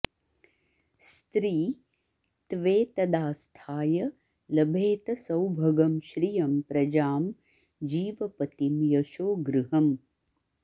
स्त्री त्वेतदास्थाय लभेत सौभगं श्रियं प्रजां जीवपतिं यशो गृहम्